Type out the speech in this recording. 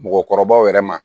Mɔgɔkɔrɔbaw yɛrɛ ma